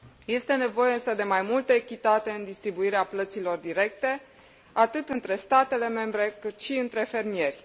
Este nevoie însă de mai multă echitate în distribuirea plăților directe, atât între statele membre, cât și între fermieri.